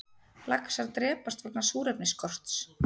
Laxar drepast vegna súrefnisskorts